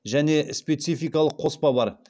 және спецификалық қоспа бар